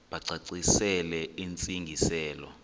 bacacisele intsi ngiselo